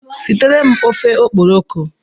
Sitere m ofe okporoko!